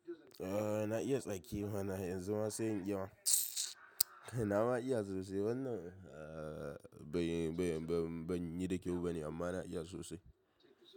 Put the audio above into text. Eh na iya tsaki mana yanzu ma sai in iya ma. Mtswww nama iya sosai, wannan, ah, ban, ban, ban yi da kyau bane, amma na iya sosai.